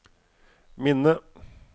minne